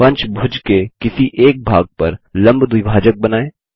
पंचभुज के किसी एक भाग पर लम्ब द्विभाजक बनाएँ